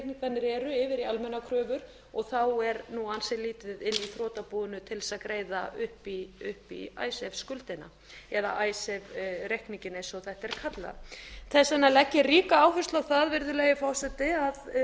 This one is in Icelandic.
yfir í almennar kröfur og þá er ansi lítið í þrotabúinu til að greiða upp í icesave skuldina eða icesave reikninginn eins og þetta er kallað þess vegna legg ég ríka áherslu á það virðulegi forseti að